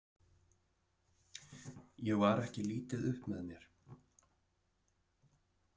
Ég var ekki lítið upp með mér.